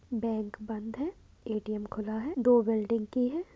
Bank बंद है A T M खुला है। दो बिल्डिंग की है।